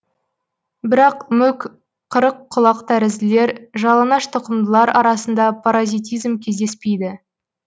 бірақ мүк қырыққұлақтәрізділер жалаңаш тұқымдылар арасында паразитизм кездеспейді